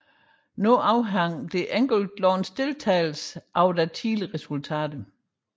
Nu afhang det enkelte lands deltagelse af deres tidligere resultater